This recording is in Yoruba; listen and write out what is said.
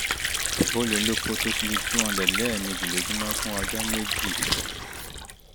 o lè lo pothos lè lo pothos two hundred lẹ́ẹ̀mejì lójúmọ́ fún ọjọ́ méjì